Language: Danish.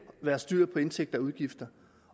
være styr på indtægter og udgifter